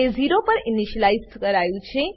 તેને 0 પર ઈનીશલાઈઝ કરાયું છે